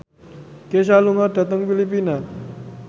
Kesha lunga dhateng Filipina